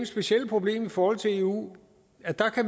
specielle problem i forhold til eu at